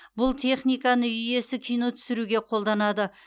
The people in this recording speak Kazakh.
бұл техниканы үй иесі кино түсіруге қолданады